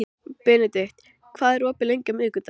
Benedikt, hvað er opið lengi á miðvikudaginn?